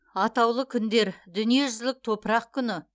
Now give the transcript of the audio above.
атаулы күндер дүниежүзілік топырақ күні